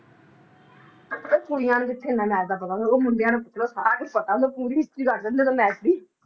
ਉਹ ਕੁੜੀਆਂ ਨੂੰ ਐਨਾਂ ਮੈਚ ਦਾ ਪਤਾ ਹੁੰਦਾ ਉਹ ਮੁੰਡਿਆਂ ਨੂੰ ਪੁੱਛ ਲੋ ਸਾਰਾ ਕੁਝ ਪਤਾ ਹੁੰਦਾ ਪੂਰੀ history ਰੱਖਦੇ ਹੁੰਦੇ ਨੇ ਮੈਚ ਦੀ